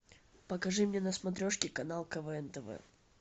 покажи мне на смотрешке канал квн тв